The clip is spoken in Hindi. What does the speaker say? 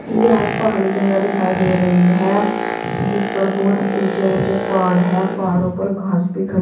यह पहाड़ी जगह दिखाई दे रही है जिसपर बहुत ऊंचे ऊंचे पहाड़ है पहाड़ों पर घास भी खड़ी--